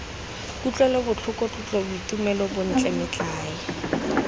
kutlwelobotlhoko tlotlo boitumelo bontle metlae